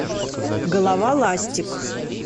голова ластик